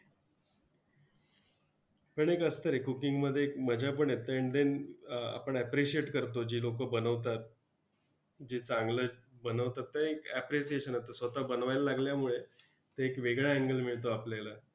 पण एक असतं रे, cooking मध्ये एक मजापण येते and then अं आपण appreciate करतो, जी लोकं बनवतात. जी चांगलंच बनवतात ते एक appreciation असतं. स्वतः बनवायला लागल्यामुळे ते एक वेगळा angle मिळतो आपल्याला!